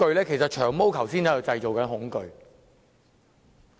其實，"長毛"剛才正在製造恐懼。